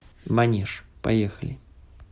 манеж поехали